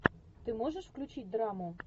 ты можешь включить драму